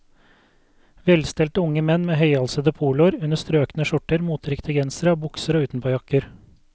Velstelte unge menn med høyhalsede poloer under strøkne skjorter, moteriktige gensere og bukser og utenpåjakker.